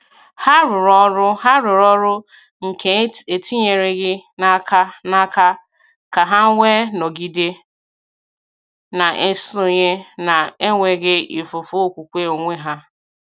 Hà rùrù ọrụ Hà rùrù ọrụ nke etinyereghị n’aka n’aka, ka hà wee nọgide na-esonye na-enweghị ifufu okwukwe onwe ha.